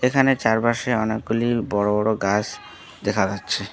এখানে চারপাশে অনেকগুলি বড়ো বড়ো গাস দেখা যাচ্ছে।